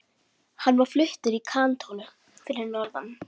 Hann var fluttur í kantónu fyrir norðan.